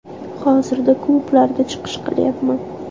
Hozirda klublarda chiqish qilyapman.